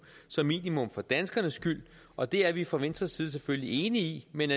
som minimum for danskernes skyld og det er vi fra venstres side selvfølgelig enige i men